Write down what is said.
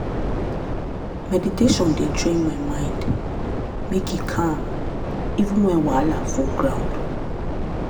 meditation dey train my mind make e calm even when wahala full ground.